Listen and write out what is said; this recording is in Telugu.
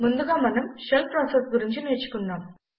ముందుగా మనం షెల్ ప్రాసెస్ గురించి నేర్చుకుందాం